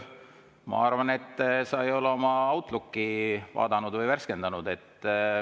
Ma arvan, et sa ei ole oma Outlooki vaadanud või värskendanud.